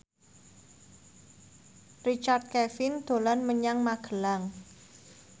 Richard Kevin dolan menyang Magelang